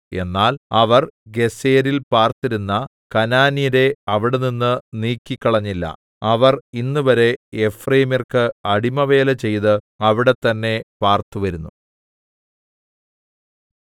എന്നാൽ അവർ ഗേസെരിൽ പാർത്തിരുന്ന കനാന്യരെ അവിടെനിന്ന് നീക്കിക്കളഞ്ഞില്ല അവർ ഇന്നുവരെ എഫ്രയീമ്യർക്ക് അടിമവേല ചെയ്ത് അവിടെതന്നെ പാർത്തു വരുന്നു